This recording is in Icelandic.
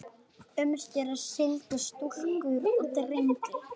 Umskera skyldi stúlkur og drengi.